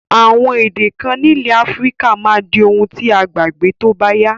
Àwon èdè kan nílẹ̀ Africa máa di oun ti a gbàgbé tóbáyá